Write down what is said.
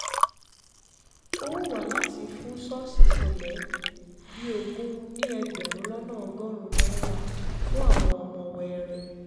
ó wù wá láti fún ṣọ́ọ̀ṣì cele bíi ogún ní ẹgbẹ̀rún lọ́nà ọgọ́rùn-ún náírà fún àwọn ọmọ wẹẹrẹ